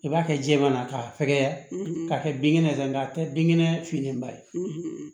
I b'a kɛ jɛman na k'a fɛgɛya k'a kɛ binkɛnɛ ye sa nka a tɛ binkɛnɛ finman ye